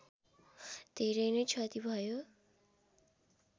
धेरै नै क्षति भयो